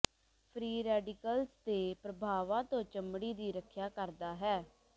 free radicals ਦੇ ਪ੍ਰਭਾਵਾਂ ਤੋਂ ਚਮੜੀ ਦੀ ਰੱਖਿਆ ਕਰਦਾ ਹੈ